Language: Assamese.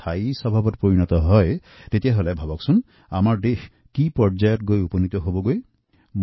সমৰ্পিত মনোভাবেৰে স্বচ্ছতাৰ বাবে কৰা এই প্ৰচেষ্টা যদি আমাৰ স্বভাবৰ এটি স্থায়ী অংগ হৈ পৰে তেতিয়াহলে আমাৰ দেশে বহু দূৰ আগুৱাবলৈ সক্ষম হব